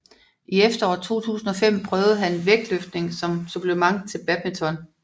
I efteråret 2005 prøvede han vægtløftning som supplement til badminton